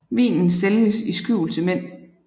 Vinen sælges i skjul til mænd